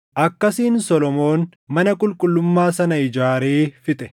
Akkasiin Solomoon mana qulqullummaa sana ijaaree fixe.